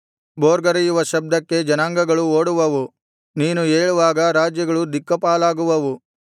ಭೋರ್ಗರೆಯುವ ಶಬ್ದಕ್ಕೆ ಜನಾಂಗಗಳು ಓಡುವವು ನೀನು ಏಳುವಾಗ ರಾಜ್ಯಗಳು ದಿಕ್ಕಾಪಾಲಾಗುವವು